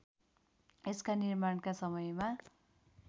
यसका निर्माणका समयमा